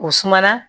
O suma na